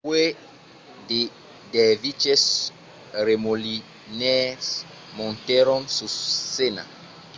puèi de derviches remolinaires montèron sus scèna